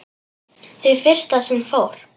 Því fyrsta sem fór.